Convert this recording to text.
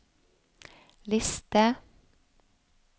liste